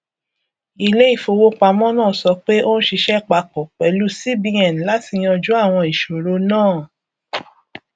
iléìfowópamọ náà sọ pé ó ń ṣiṣẹ papọ pẹlú cbn láti yanjú àwọn ìṣòro náà